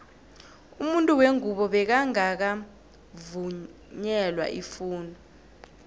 umuntu wengubo bekangaka vungelwa ifundo